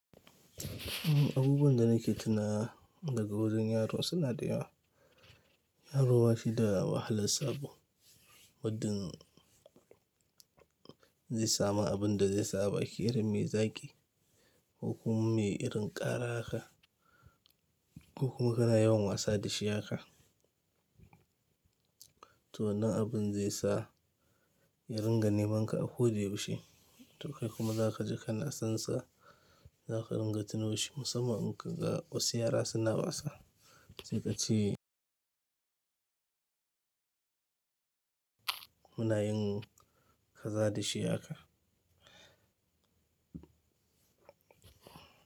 Abubuwan da nake tunawa daga wurin yaro suna da yawa. Yaro bashi da wahala sabo, mu din zai samu abun da zai sa abaki irin me zaki, ko kuma me irin ƙara haka, ko kuma kana yawan wasa da shi haka. To wannan abun zai sa ya ringa neman ka a ko wace wuce, to kai kuma za ka ji kana son sa, za ka ringa tuno shi musamman in ka ga wasu yara suna wasa, sai ka ce muna yin kaza da shi haka.